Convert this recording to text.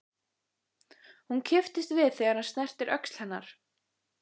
Hún kippist við þegar hann snertir öxl hennar.